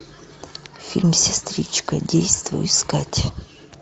фильм сестричка действуй искать